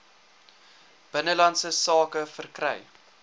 binnelandse sake verkry